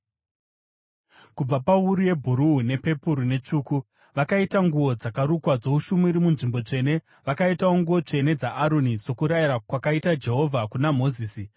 Kubva pawuru yebhuruu nepepuru netsvuku, vakaita nguo dzakarukwa dzoushumiri munzvimbo tsvene. Vakaitawo nguo tsvene dzaAroni, sokurayira kwakaita Jehovha kuna Mozisi.